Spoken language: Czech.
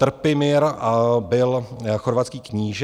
Trpimir byl chorvatský kníže.